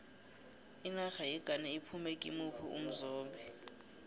inarha yeghana iphume kimuphi umzombe